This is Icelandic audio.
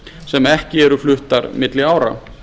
sem ekki eru fluttar milli ára